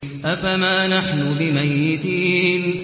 أَفَمَا نَحْنُ بِمَيِّتِينَ